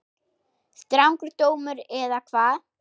Strangur dómur eða hvað?